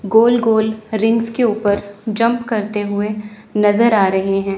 गोल गोल रिंग्स के उपर जंप करते हुए नजर आ रहे हैं।